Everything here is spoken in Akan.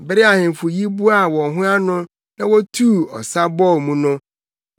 Bere a ahemfo yi boaa wɔn ho ano, na wotuu ɔsa bɔɔ mu no,